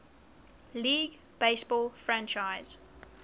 league baseball franchise